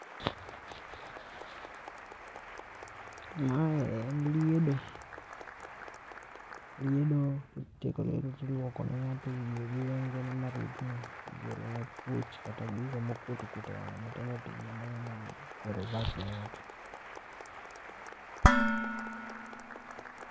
Ma en liedo, liedo ki isetieko liedo to iluoko ne ngato wiye gi wengene ma rudhne ki igole ne puch kata gigo ma okwot okwot e wang'e matindotindo ne ng'ato.